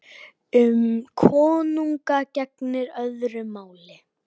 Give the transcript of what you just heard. Um konunga gegnir öðru máli.